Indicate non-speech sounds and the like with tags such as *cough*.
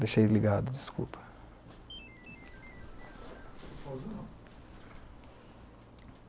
Deixei ligado, desculpa. *unintelligible*